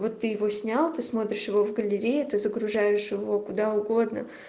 вот ты его снял ты смотришь его в галерее ты загружаешь его куда угодно